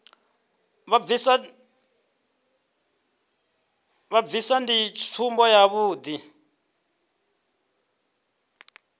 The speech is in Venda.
vha bvisa ndi tsumbo yavhuḓi